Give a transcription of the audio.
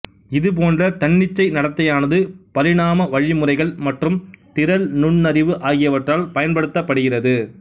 இது போன்ற தன்னிச்சை நடத்தையானது பரிணாம வழிமுறைகள் மற்றும் திரள் நுண்ணறிவு ஆகியவற்றால் பயன்படுத்தப்படுகிறது